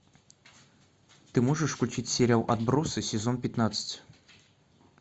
ты можешь включить сериал отбросы сезон пятнадцать